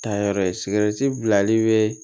Taayɔrɔ ye bilali be